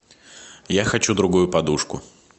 я хочу другую подушку